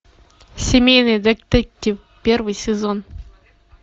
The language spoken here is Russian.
семейный детектив первый сезон